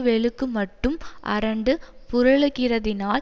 வெளுக்குமட்டும் அரண்டு புரளுகிறதினால்